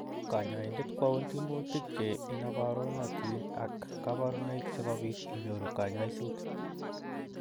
Kanyaindet kwaun timutik che inabarunotin ak kabaruniek sikopit inyoru kanyaishet.